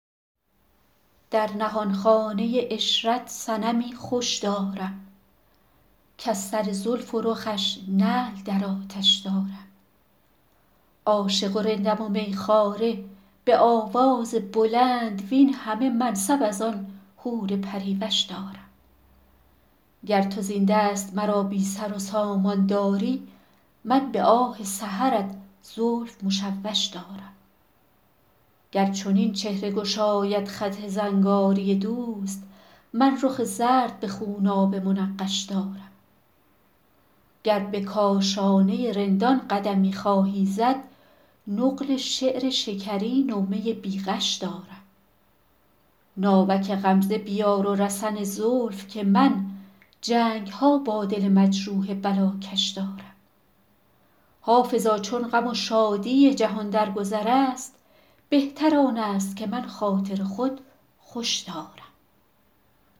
در نهانخانه عشرت صنمی خوش دارم کز سر زلف و رخش نعل در آتش دارم عاشق و رندم و می خواره به آواز بلند وین همه منصب از آن حور پری وش دارم گر تو زین دست مرا بی سر و سامان داری من به آه سحرت زلف مشوش دارم گر چنین چهره گشاید خط زنگاری دوست من رخ زرد به خونابه منقش دارم گر به کاشانه رندان قدمی خواهی زد نقل شعر شکرین و می بی غش دارم ناوک غمزه بیار و رسن زلف که من جنگ ها با دل مجروح بلاکش دارم حافظا چون غم و شادی جهان در گذر است بهتر آن است که من خاطر خود خوش دارم